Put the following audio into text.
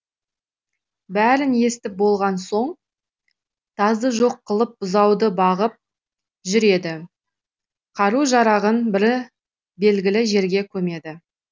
бәрін естіп болған соң тазды жоқ қылып бұзауды бағып жүреді қару жарағын бір белгілі жерге көмеді